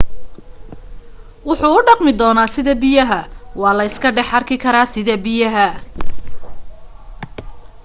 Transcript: wuxu u dhaqmi doonaa sida biyaha waa la iska dhex arki karaa sida biyaha